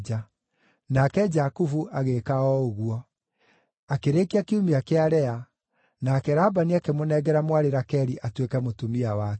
Nake Jakubu agĩĩka o ũguo. Akĩrĩkia kiumia kĩa Lea, nake Labani akĩmũnengera mwarĩ Rakeli atuĩke mũtumia wake.